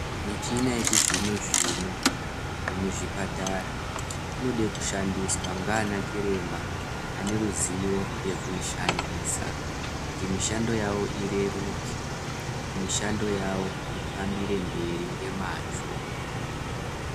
Michina yechizvino zvino yemuzvipatara inoda kushandiswa nana chiremba ane ruzivo yekuishandisa kuti mishando yavo ireruke mishando yavo ifambire mberi nemazvo.